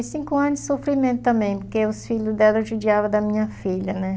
Foi cinco anos de sofrimento também, porque os filhos dela judiavam da minha filha, né?